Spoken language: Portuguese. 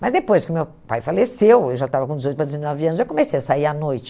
Mas depois que meu pai faleceu, eu já estava com dezoito para dezenove anos, eu comecei a sair à noite.